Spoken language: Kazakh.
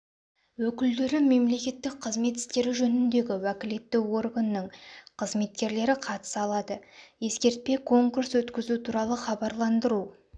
өкілдері мемлекеттік қызмет істері жөніндегі уәкілетті органның қызметкерлері қатыса алады ескертпе конкурс өткізу туралы хабарландыру